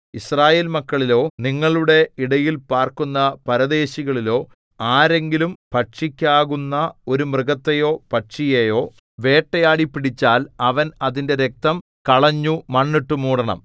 യിസ്രായേൽമക്കളിലോ നിങ്ങളുടെ ഇടയിൽ പാർക്കുന്ന പരദേശികളിലോ ആരെങ്കിലും ഭക്ഷിക്കാകുന്ന ഒരു മൃഗത്തെയോ പക്ഷിയെയോ വേട്ടയാടി പിടിച്ചാൽ അവൻ അതിന്റെ രക്തം കളഞ്ഞു മണ്ണിട്ടു മൂടണം